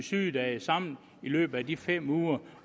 sygedage sammen i løbet af de fem uger